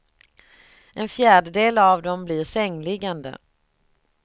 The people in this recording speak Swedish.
En fjärdedel av dem blir sängliggande.